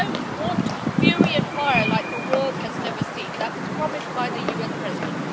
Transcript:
They do not want fury and fire like the world has never seen, which was promised by the US President.